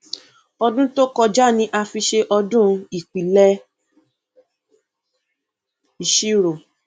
ọdún tó kọjá ni a fi ṣe ọdún ìpìlẹ ìṣirò